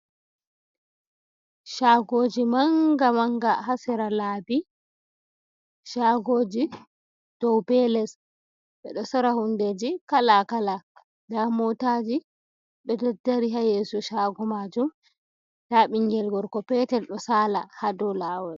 Caagooji mannga mannga ha sera laabi, Caagooji dow bee les, ɓe ɗo sora hunndeeji kalaa kalaa. Ndaa Mootaaji, ɗo daddari ha yeeso Caago maajum, ndaa ɓinngel gorko peetel ɗo saala ha dow laawol.